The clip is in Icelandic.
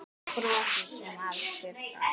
Bros sem af sér gaf.